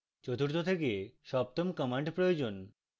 চতুর্থ থেকে সপ্তম commands প্রয়োজন